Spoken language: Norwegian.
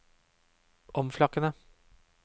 omflakkende